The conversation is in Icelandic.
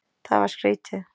Það var skrítið.